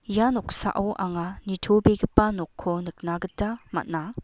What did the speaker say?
ia noksao anga nitobegipa nokko nikna gita man·a.